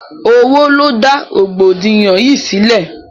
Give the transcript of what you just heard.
Owó ló dá rọ̀gbọ̀dìyàn yìí sílẹ̀.